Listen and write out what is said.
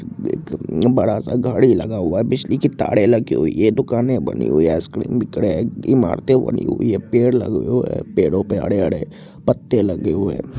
एक बड़ा सा घड़ी लगा हुआ है बिजली की तारे लगी हुई हैं दुकाने बनी हुई हैं आइसक्रीम बिक रहे हैं इमारतें बनी हुई है पेड़ लगे हुए है पेड़ों पर हरे-हरे पत्ते लगे हुए है।